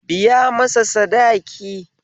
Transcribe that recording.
Biya masa sadaki